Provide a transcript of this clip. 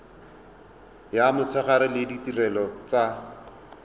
ya motshegare le ditirelo tsa